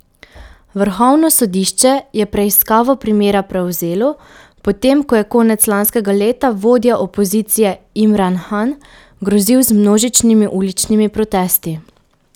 Vrhovno sodišče je preiskavo primera prevzelo, potem ko je konec lanskega leta vodja opozicije Imran Han grozil z množičnimi uličnimi protesti.